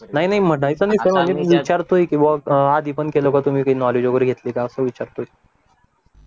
नाही नाही म्हणायचं नाही मी सध्या विचारतोय कि बवा कि आधी पण केलंय का आधी पण नॉलेज वगैरे काही घेतलय का असं विचारतोय